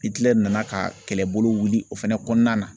Itilɛri nana ka kɛlɛbolo wili o fɛnɛ kɔnɔna na